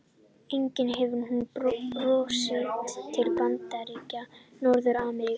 Einnig hefur hún borist til Bandaríkja Norður-Ameríku.